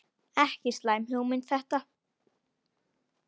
Ekki slæm hugmynd þetta.